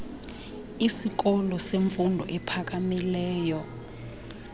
isikolo semfundo ephakamileyo